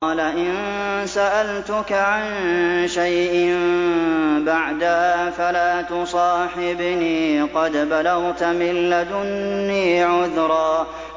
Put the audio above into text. قَالَ إِن سَأَلْتُكَ عَن شَيْءٍ بَعْدَهَا فَلَا تُصَاحِبْنِي ۖ قَدْ بَلَغْتَ مِن لَّدُنِّي عُذْرًا